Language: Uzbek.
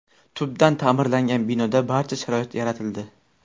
Tubdan ta’mirlangan binoda barcha sharoit yaratildi.